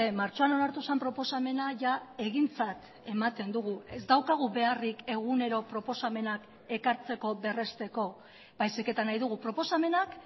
martxoan onartu zen proposamena jada egintzat ematen dugu ez daukagu beharrik egunero proposamenak ekartzeko berrezteko baizik eta nahi dugu proposamenak